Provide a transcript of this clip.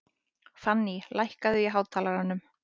Fanný, lækkaðu í hátalaranum.